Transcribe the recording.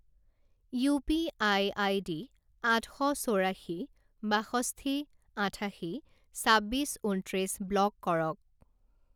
UPI ID আঠ শ চৌৰাশী বাষষ্ঠি আঠাশী ছাব্বিছ ঊনত্ৰিছ ব্লক কৰক।